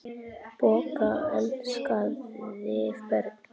Bogga elskaði börn.